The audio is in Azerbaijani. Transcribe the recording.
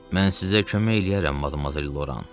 Mən sizə kömək eləyərəm, Loran.